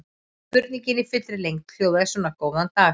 Spurningin í fullri lengd hljóðaði svona: Góðan dag.